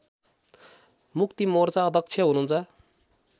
मुक्तिमोर्चा अध्यक्ष हुनुहुन्छ